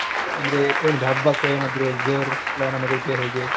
ಅಂದ್ರೆ ಏನಿದೆ ಹಬ್ಬಕ್ಕೆ ಏನಾದ್ರು ಜೋರು plan ಏನಾದ್ರು ಇದ್ಯಾ ಹೇಗೆ?